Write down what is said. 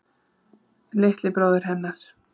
Litli bróðirinn hennar.